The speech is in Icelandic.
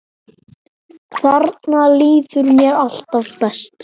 Þarna líður mér alltaf best.